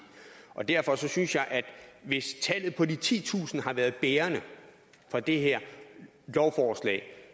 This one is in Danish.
derfor synes jeg at hvis tallet på de titusind har været bærende for det her lovforslag